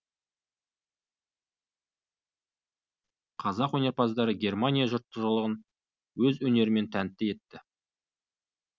қазақ өнерпаздары германия жұртшылығын өз өнерлерімен тәнті етті